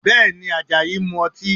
Bẹ́ẹ̀ni, Àjàyí ń mu ọtí?